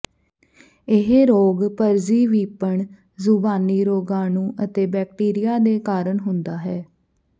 ਇਹ ਰੋਗ ਪਰਜੀਵੀਪਣ ਜ਼ੁਬਾਨੀ ਰੋਗਾਣੂ ਅਤੇ ਬੈਕਟੀਰੀਆ ਦੇ ਕਾਰਨ ਹੁੰਦਾ ਹੈ